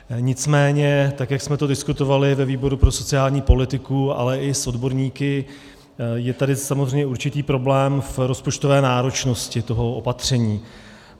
Nicméně tak jak jsme to diskutovali ve výboru pro sociální politiku, ale i s odborníky, je tady samozřejmě určitý problém v rozpočtové náročnosti toho opatření.